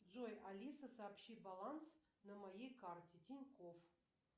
джой алиса сообщи баланс на моей карте тинькофф